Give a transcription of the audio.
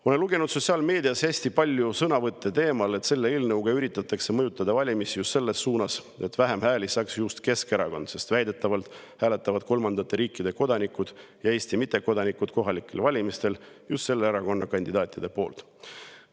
Ma olen lugenud sotsiaalmeedias hästi palju sõnavõtte teemal, et selle eelnõuga üritatakse mõjutada valimisi selles suunas, et vähem hääli saaks just Keskerakond, sest väidetavalt hääletavad kolmandate riikide kodanikud ja Eesti mittekodanikud kohalikel valimistel just selle erakonna kandidaatide poolt.